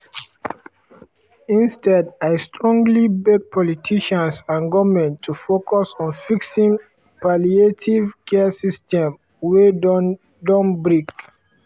instead i strongly beg politicians and goment to focus on fixing palliative care system wey don don break."